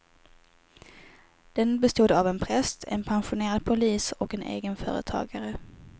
Den bestod av en präst, en pensionerad polis och en egenföretagare.